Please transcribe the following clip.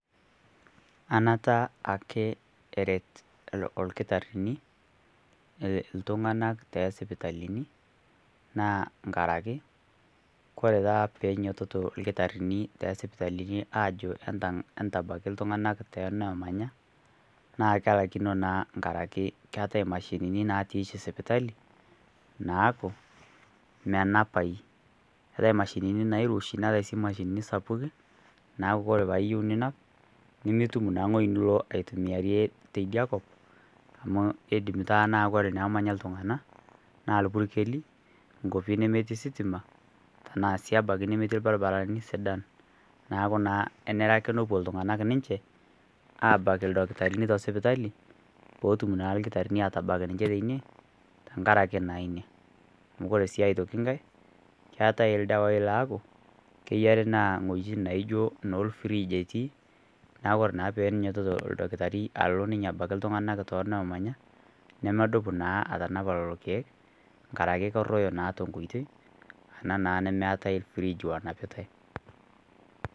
Anata ake eret ilkitarini iltung'ana too isipitalini naa nkarake kore taa peenyoitoto ilkitarini te sipitalini ajo entabaiki iltung'ana te enoomanya, naa kelaikino naa enkaraki eatai imashinini natii oshi sipitali naaku menapai. Ore imashinini nairoshi ana imashinini sapukin neaku kore paa iyou ninap nimitum naa wueji nilo aitimiarie teidia kop amu eidim taa nemanya iltung'ana anaa ilpurkeli, inkwapi netii sitima tanaa sii abaiki nemetii ilbaribarani sida. Neaku naa enare ake nepuo iltung'ana ninche abaiki ildakitarini te sipitali, pee etum naa ninche ilkitarini atabak ninye teine, tenkaraki na Ina. Ore sii aitoki nkai keatai ildawai laaku keyare naa inwuetin oshi anaa olfrij etii neaku naa ore pee einyoitoto olkitari ninye alo ninye abaiki iltung'ana too innamanya , nemedup naa atanapa lelo keek, enkaraki keruoyo naa tenkoitoi ena naa nemeatai frij onapitai.